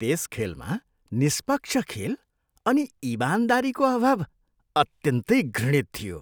त्यस खेलमा निष्पक्ष खेल अनि इमानदारीको अभाव अत्यन्तै घृणित थियो।